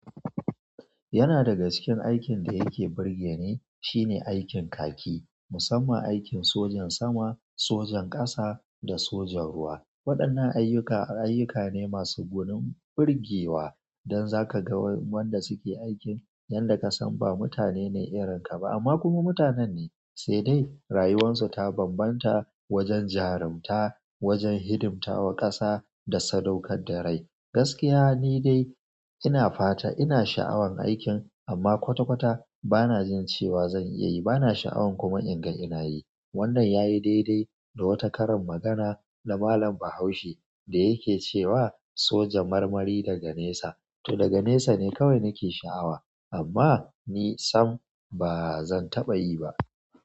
Yana daga cikin aikin da yake burgeni, shine aikin kaki musamman aikin sojan sama, sojan ƙasa da sojan ruwa waɗannan ayyuka ayyuka ne masu gwanin burgewa don za ka ga wanda suke aikin yadda ka san ba mutane ne irinka ba amma kuma mutanen ne, sai dai rayuwarsu ta bambanta wajen jarumta, wajen hidimtawa ƙasa da sadaukar da rai. Gaskiya ni dai ina fata ina sha'awan aikin amma kwata-kwata bana jin cewa zan iya yi, bana sha'awan kuma in ga ina yi. Wannan yayi daidai da wata karin magana na Malam Bahaushe da yake cewa soja marmari daga nesa, to daga nesa ne kawai nake sha'awa amma ni sam ba zan taɓa yi ba.